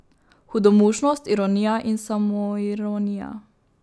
Hudomušnost, ironija in samoironija.